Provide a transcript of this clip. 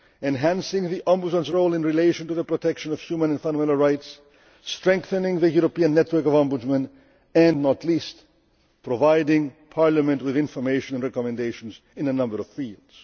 Bank, enhancing the Ombudsman's role in relation to the protection of human and fundamental rights, strengthening the European network of Ombudsmen and, not least, providing Parliament with information and recommendations in a number of fields.